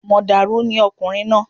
Mọ̀dàrú ni ọkùnrin náà